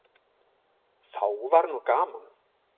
Þá var nú gaman.